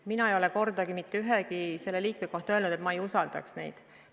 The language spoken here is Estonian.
Mina ei ole kordagi mitte ühegi komisjoni liikme kohta öelnud, et ma ei usalda teda.